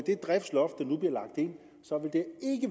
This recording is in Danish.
det driftsloft